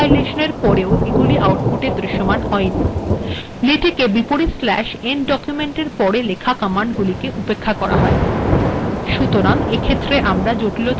পূর্েব এগুিল \end {document} এর পির থাকায় কম্পাইেলশন এর পের এগুিল আউটপুট্এ দৃশ্যমান হয়িন েলেটেক \end {document} এর পের েলখা কমান্ড গুিলেক উেপক্খা করা হয়